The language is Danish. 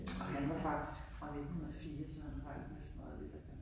Og han var faktisk fra 1904 så han har faktisk næsten været lidt øh